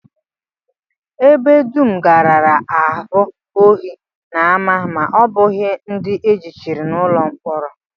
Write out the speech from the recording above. Ebe dum gaara abụ ohi na ama ma ọ bụghị ndị e jichiri n'ụlọ mkpọrọ